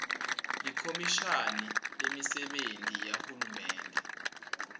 likhomishani lemisebenti yahulumende